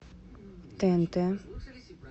тнт